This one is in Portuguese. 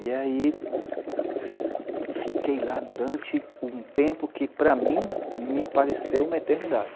E aí, fiquei lá durante um tempo que, para mim, me pareceu uma eternidade.